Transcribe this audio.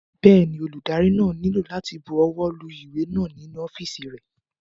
Bẹ́ẹ̀ni, olùdarí náà nílò láti bu ọwọ́ lu ìwé náà nínú ọ́fìsì rẹ̀